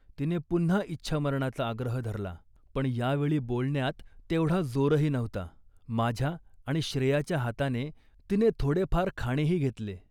तिने पुन्हा इच्छामरणाचा आग्रह धरला, पण या वेळी बोलण्यात तेवढा जोरही नव्हता. माझ्या आणि श्रेयाच्या हाताने तिने थोडेफार खाणेही घेतले